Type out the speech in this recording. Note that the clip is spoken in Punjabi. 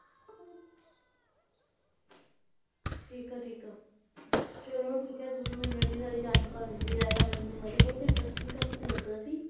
ਠੀਕ ਆ ਠੀਕ ਆ ਚਲੋ ਠੀਕ ਆ ਤੁਸੀ ਮੈਨੂੰ ਇੰਨੀ ਸਾਰੀ ਜਾਣਕਾਰੀ ਦਿੱਤੀ ਲੈਲਾ ਮਜਨੂੰ ਬਾਰੇ ਬਹੁਤ interesting topic ਲੱਗਾ ਸੀ